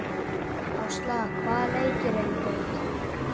Ásla, hvaða leikir eru í kvöld?